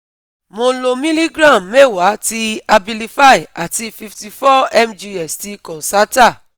mo lo miligram mewa ti Abilify ati fifty-four mgs ti Concerta